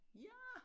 Ja